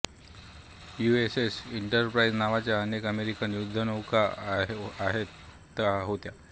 U S S Enterprise नावाच्या अनेक American युद्धनौका आहेतहोत्या